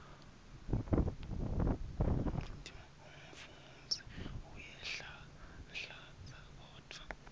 umfundzi uyanhlanhlatsa kodvwa